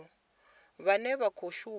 vhane vha khou shuma nga